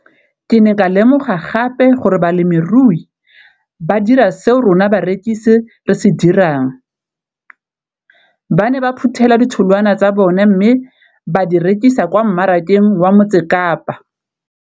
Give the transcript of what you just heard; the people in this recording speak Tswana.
Ke ne ka lemoga gape gore balemirui ba dira seo rona barekisi re se dirang - ba ne ba phuthela ditholwana tsa bona mme ba di rekisa kwa marakeng wa Motsekapa.